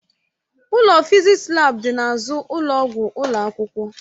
Ụlọ fịzịksi laabu dị n'azụ ụlọ ọgwụ ụlọ akwụkwọ.